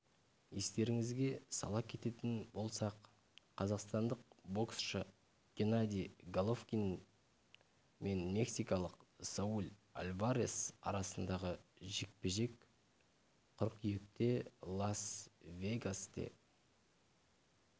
естеріңізге сала кететін болсақ қазақстандық боксшы геннадий головкин мен мексикалық сауль альварес арасындағы жекпе-жек қыркүйекте лас-вегасте